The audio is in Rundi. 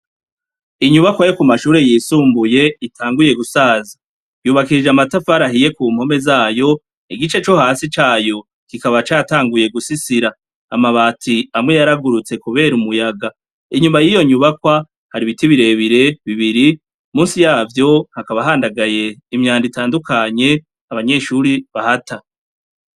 Inyubakwa yo ku mashure yisumbuye itanguye gusaza. Yubakishije amatafari ahiye ku mpome zayo, igice co hasi cayo kikaba catanguye gusisira. Amabati amwe yaragurutse kubera umuyaga. Inyuma y'iyo nyubakwa, hari ibiti birebire, bibiri, munsi yavyo hakaba handagaye imyanda itandukanye abanyeshuri bahata.